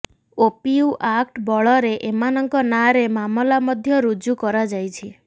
ଓପିୟୁ act ବଳରେ ଏମାନଙ୍କ ନାଁରେ ମାମଲା ମଧ୍ୟ ରୁଜୁ କରାଯାଇଛି